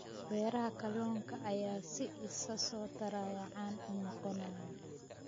Beeraha kalluunka ayaa si isa soo taraya caan u noqonaya.